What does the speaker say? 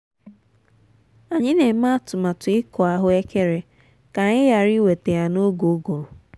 anyị na-eme atụmatụ ịkụ ahụekere ka anyị ghara iweta ya n'oge uguru.